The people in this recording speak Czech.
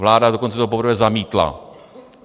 Vláda to dokonce poprvé zamítla.